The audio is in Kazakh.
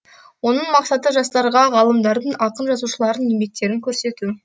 оның мақсаты жастарға ғалымдардың ақын жазушылардың еңбектерін көрсету